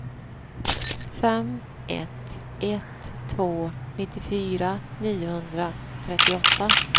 fem ett ett två nittiofyra niohundratrettioåtta